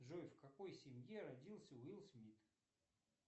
джой в какой семье родился уилл смит